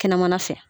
Kɛnɛmana fɛ